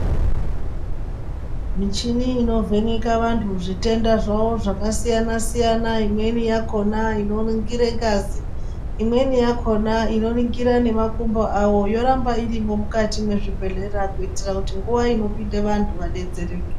Michini inovheneka vantu zvitenda zvavo zvakasiyana-siyana, imweni yakona inoringire ngazi, imweni yakona inoringire nemakumbo avo yorambairimwo mukati mwezvibhedhlera. Kuitira kuti nguva inopindira vantu vabetsereke.